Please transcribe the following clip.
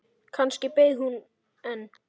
Kannski beið hún enn.